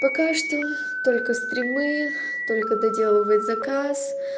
пока что только стримы только доделывать заказ